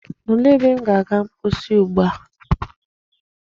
Olee ebe m ga-aga mposi ugbua?